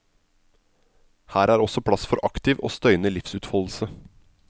Her er også plass for aktiv og støyende livsutfoldelse.